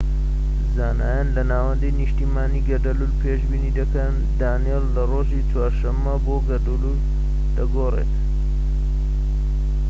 زانایان لە ناوەندی نیشتمانی گەردەلوول پێشبینی دەکەن دانیێل لە ڕۆژی چوارشەممە بۆ گەردەلوول دەگۆڕێت